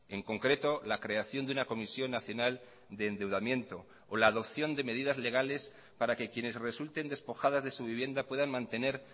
en concreto la creación de una comisión nacional de endeudamiento o la adopción de medidas legales para que quienes resulten despojadas de su vivienda puedan mantener